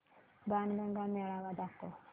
बाणगंगा मेळावा दाखव